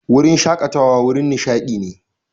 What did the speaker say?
Wurin shakatawa wurin nishadi ne.